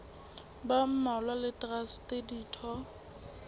ba mmalwa le traste ditho